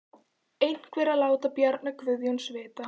Einhver að láta Bjarna Guðjóns vita?